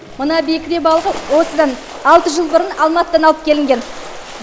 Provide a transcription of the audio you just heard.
мына бекіре балығы осыдан алты жыл бұрын алматыдан алып келінген